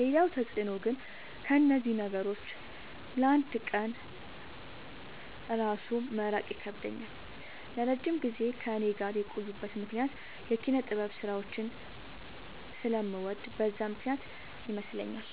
ሌላው ተፅዕኖ ግን ከእነዚህ ነገሮች ለ አንድ ቀን እራሱ መራቅ ይከብደኛል። ለረጅም ጊዜ ከእኔ ጋር የቆዩበት ምክንያት የኪነጥበብ ስራዎችን ስለምወድ በዛ ምክንያት ይመስለኛል።